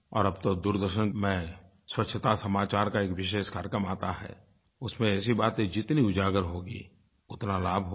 और अब तो दूरदर्शन में स्वच्छता समाचार का एक विशेष कार्यक्रम आता है उसमें ऐसी बातें जितनी उजागर होंगी उतना लाभ होगा